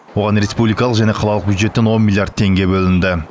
оған республикалық және қалалық бюджеттен он миллиард теңге бөлінді